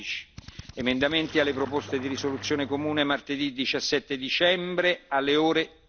12. Emendamenti alle proposte di risoluzione comune martedì 17 dicembre alle ore